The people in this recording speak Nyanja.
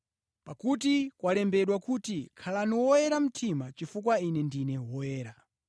Pakuti, kwalembedwa kuti, “Khalani oyera mtima, chifukwa Ine ndine Woyera.”